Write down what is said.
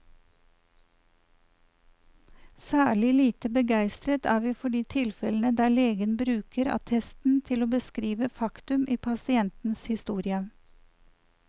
Særlig lite begeistret er vi for de tilfellene der legen bruker attesten til å beskrive faktum i pasientens historie.